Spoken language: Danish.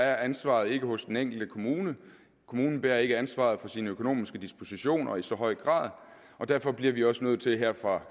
er ansvaret ikke hos den enkelte kommune kommunen bærer ikke ansvaret for sine økonomiske dispositioner i så høj grad og derfor bliver vi også nødt til her fra